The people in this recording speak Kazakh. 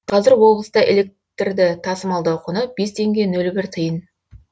қазір облыста электрді тасымалдау құны бес теңге нөл бір тиын